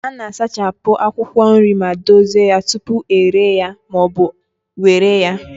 A na-asachapụ akwụkwọ nri ma dozie ya tupu ere ya ma ọ bụ were ya.